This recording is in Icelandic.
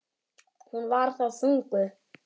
Hún var þá þunguð.